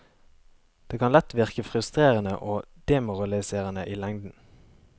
Det kan lett virke frustrerende og demoraliserende i lengden.